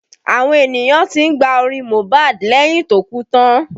Àwọn ènìyàn tí ń gba orin Mohbad lẹ́yìn tó kú tán